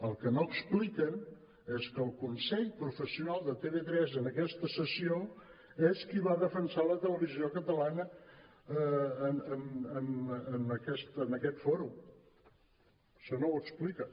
el que no expliquen és que el consell professional de tv3 en aquesta sessió és qui va defensar la televisió catalana en aquest fòrum això no ho expliquen